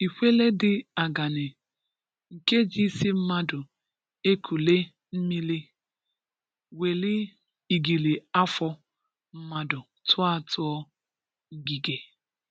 Ịkwelè di agàna, “nke jí isi mmadụ ekùlé n’míli, wèlí igili-afọ mmadụ tụá tụá ngige.”